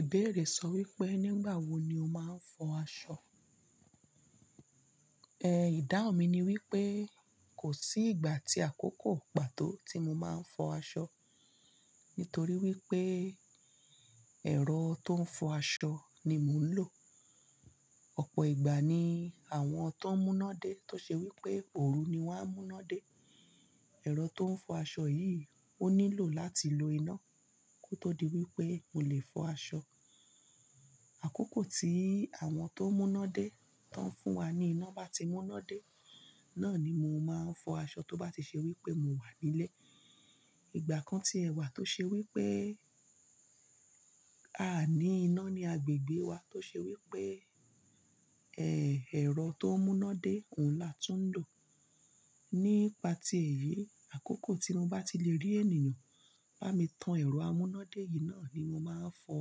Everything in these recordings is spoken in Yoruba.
Ìbéèrè sọ wípé, nígbà wo ni o máa ń fọ aṣọ? Ẹ̀ ìdáhùn mi ni wípé, kò sí ìgbà atí àkókò pàtó tí mo máa ń fọ aṣọ, nítorí wípé ẹ̀rọ tó ń fọ aṣọ ni mò ń lò. Ọ̀pọ̀ ìgbà ni àwọn tó ń mú'ná dé tó ṣe wípé òru ni wón á mú iná dé. Ẹ̀rọ tó ń fọ aṣọ yìí ó nílò láti lo iná kó tó di wípé mo lè fọ aṣọ. Àkókò tí àwọn tó ń mú'ná dé tán fún wa ní iná bá ti mú'ná dé, náà ni mo máa ń fọ aṣọ tó bá ti ṣe wípé mo wà nílé. Ìgbà kan tí ẹ wà tó ṣe wípé a ò ní iná ní agbègbè wa tó ṣe wípé, ẹ́, ẹ̀rọ tó ń mú'ná dé òun látun ń lò. Nípa ti èyí, àkókò tí mo bá ti le rí ènìyàn bá mi tan ẹ̀rọ amúnádé yìí náà ni mo máa ń fọ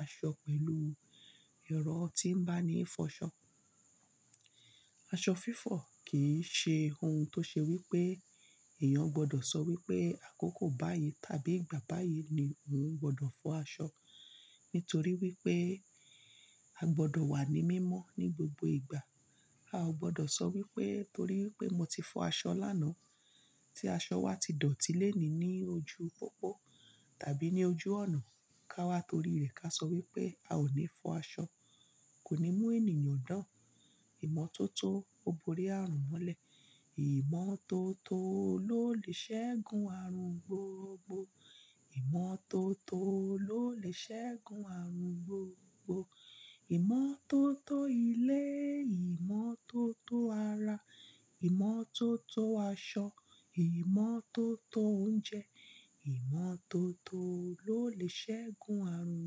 aṣọ pẹ̀lú èrọ́ tí ń bá ní ìfọṣọ. Aṣọ fífọ̀ kì í ṣe ohun tó ṣe wípé èèyàn gbọdọ̀ sọ wípé àkókò báyìí tàbí ìgbà báyìí ni òun gbọdọ̀ fọ aṣọ. Nítorí wípé a gbọdọ̀ wà ní mímọ́ ní gbogbo ìgbà. A ò gbọdọ̀ sọ wípé torí pé mo ti fọ aṣọ lánàá tí aṣọ wa ti dọ̀tí léni ní ojú pópó tàbí ní ojú ònà ká wá torí rẹ̀ ká sọ wípé a ò ní fọ aṣọ. Kò ní mú ènìyàn dàn. Ìmọ́tótó ó borí àrùn molẹ̀. Ìmọ́tótó ló lè ṣẹ́gun àrùn gbogbo. Ìmọ́ tó tó ló lè ṣẹ́gun àrùn gbogbo. Ìmọ́ tó tó ilé, ìmọ́ tó tó ara, ìmọ́ tó tó aṣọ, ìmọ́ tó tó oúnjẹ, ìmọ́ tó tó ló lè ṣẹ́gun àrùn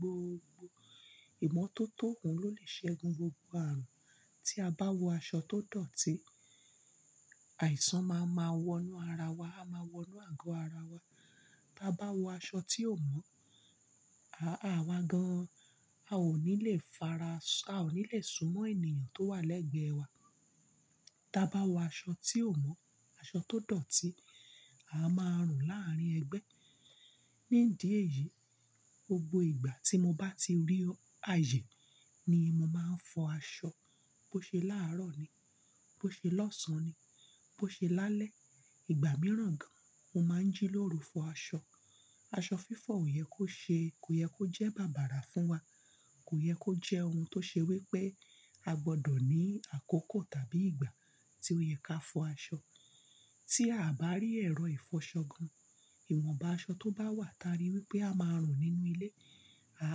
gbogbo. Ìmọ́tótó òun ló lè ṣẹ́gun gbogbo àrùn. Tí a bá wọ aṣọ tó dọ̀tí, àìsàn máa ma wọ inú ara wa, á ma wọ inú àgọ́ ara wa. Bá bá wọ aṣọ tí ò mọ́, a, àwa gan-an a ò ní lè faras- a ò ní lè súnmọ́ ènìyàn tó wà lẹ́gbẹ̀ẹ́ wa. Ta bá wọ aṣọ tí ò mọ́, aṣọ tó dọ̀tí, a máa rùn láàárín ẹgbẹ́. Nídií ẹ̀yìí, gbogbo ìgbà tí mo bá ti rí àyè ni mo máa ń fọ aṣọ. Bó ṣe láàárọ̀ ni, bó ṣe lọ́sàn-án ni, bó ṣe lálẹ́. Ìgbà mìíràn gan, mo máa ń jí lóru fọ aṣọ. Aṣọ fífọ̀ ò yẹ kó ṣe, kò yẹ kó jẹ́ bàbàrà fún wa. Kò yẹ kó jẹ́ ohun tó ṣe wípé a gbọdọ̀ ní àkókò tàbí ìgbà tí ó yẹ ká fọ aṣọ. Tí a bá rí ẹ̀rọ ìfọṣọ gan, ìwọ̀nbá aṣọ tó bá wà táa rí wípé a máa rùn nínú ilé, a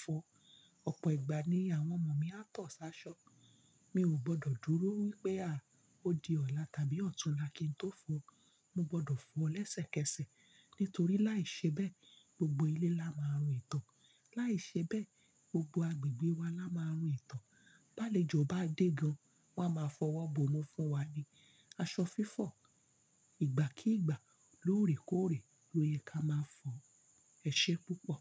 fọ. Ọ̀pọ̀ ìgbà ni àwọn ọmọ mi á tọ̀ ṣ, 'áṣọ. Mi ò gbọdọ̀ dúró wípé a, ó di ọ̀la tàbí ọ̀túnla kí n tó fọ ó. Mo gbọdọ̀ fọ ó lẹ́sẹ̀kẹsẹ̀ nítorí láìṣe bẹ́ẹ̀ gbogbo ilé la máa rùn ìtọ̀. Láìṣe bẹ́ẹ̀ gbogbo agbègbè wa la máa rùn ìtọ̀. Ba'lèjò bá dé gan, wọ́n á máa fọwọ́ bòmú fún wa ni. Aṣọ fífọ ìgbà kí ìgbà lóòrèkóòrè ló yẹ ká máa ń fọ. Ẹ̀ ṣé púpọ̀.